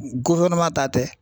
ta tɛ.